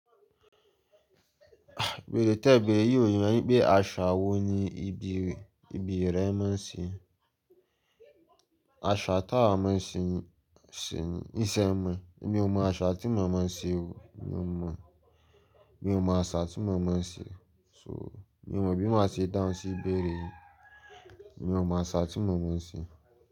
Bèré tẹ́bẹ̀ẹ́ yìí ò yé mi wípé àṣà wo ni ibi, ibi rẹ máa ń ṣe. Àṣà táwa máa ń ṣe ní, níṣe mi. Èmi ò mọ àṣà tí mo máa ń ṣe o. Mi ò mọ, mi ò mọ àṣà tí mo máa ń ṣe. So mi ò mọ bí mo máa ṣe dáhùn sí ìbéèrè yìí. Mi ò mọ àṣà tí mo máa ń ṣe.